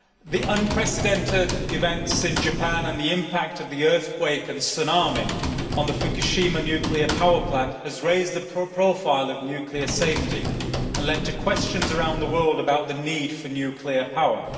The unprecedented events in Japan and the impact of the earthquake and tsunami on the Fukushima nuclear power plant have raised the profile of nuclear safety and led to questions around the world about the need for nuclear power.